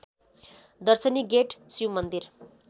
दर्शनी गेट शिवमन्दिर